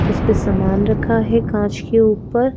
जिस पे सामान रखा है कांच के ऊपर।